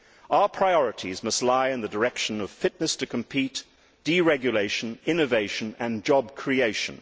Our priorities must lie in the direction of fitness to compete, deregulation, innovation and job creation.